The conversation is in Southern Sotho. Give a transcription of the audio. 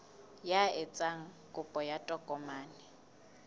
ya etsang kopo ya tokomane